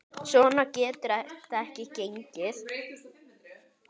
Svona getur þetta ekki gengið.